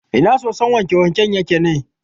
Ina sosun wanke-wanken yake ne?